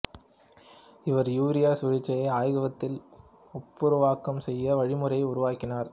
இவர் யூரியா சுழற்சியை ஆய்வகத்தில் ஒப்புருவாக்கம் செய்யும் வழிமுறையை உருவக்கினார்